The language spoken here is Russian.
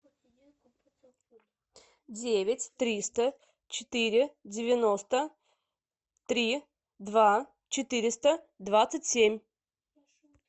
девять триста четыре девяносто три два четыреста двадцать семь